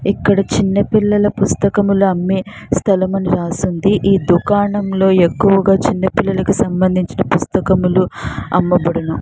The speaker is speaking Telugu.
ఇక్కడ చిన్న పిల్లల పుస్తకములు అమ్మే స్థలమని రాసింది. ఈ దుకాణంలో ఎక్కువగా చిన్న పిల్లలకు సంబంధించిన పుస్తకములు అమ్మబడును.